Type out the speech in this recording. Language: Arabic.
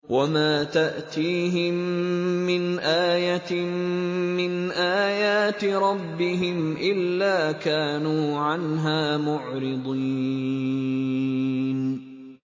وَمَا تَأْتِيهِم مِّنْ آيَةٍ مِّنْ آيَاتِ رَبِّهِمْ إِلَّا كَانُوا عَنْهَا مُعْرِضِينَ